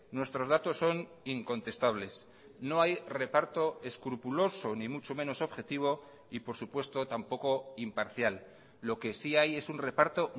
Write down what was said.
nuestros datos son incontestables no hay reparto escrupuloso ni mucho menos objetivo y por supuesto tampoco imparcial lo que sí hay es un reparto